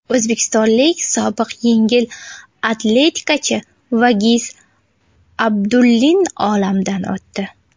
O‘zbekistonlik sobiq yengil atletikachi Vagiz Abdullin olamdan o‘tdi.